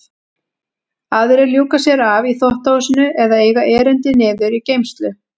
Aðrir ljúka sér af í þvottahúsinu eða eiga erindi niður í geymslu.